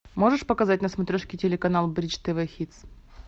можешь показать на смотрешке телеканал бридж тв хитс